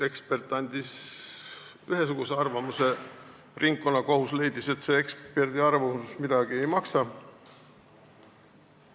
Ekspert andis ühe arvamuse, ringkonnakohus leidis, et see eksperdiarvamus midagi ei maksa.